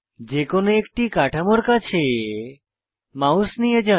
যে কোনো একটি কাঠামোর কাছে মাউস নিয়ে যান